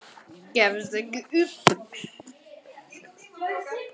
Gefstu ekki upp.